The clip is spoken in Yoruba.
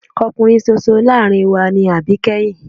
Ọkùnrin ṣoṣo láàárín wa ni àbíkẹ́yìn.